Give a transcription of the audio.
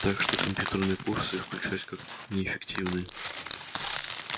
так что компьютерные курсы исключались как неэффективные